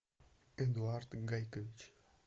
эдуард гайкович